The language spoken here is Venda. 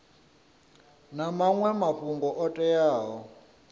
na maṅwe mafhungo o teaho